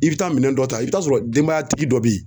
I bɛ taa minɛn dɔ ta i bɛ taa sɔrɔ denbayatigi dɔ bɛ yen